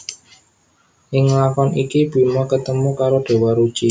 Ing lakon iki Bima ketemu karo Déwa Ruci